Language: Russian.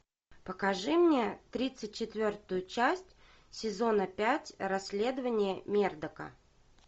покажи мне тридцать четвертую часть сезона пять расследования мердока